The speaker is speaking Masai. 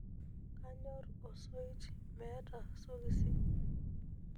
kanyor osoit meeta sokisi